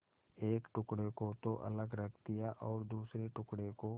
एक टुकड़े को तो अलग रख दिया और दूसरे टुकड़े को